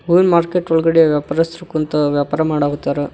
ಹೂವಿನ ಮಾರ್ಕೆಟ್ ಒಳಗಡೆ ವ್ಯಾಪಾರಸ್ಥರ್ ಕುಂತ ವ್ಯಾಪಾರ ಮಾಡೋವತ್ತಾರ.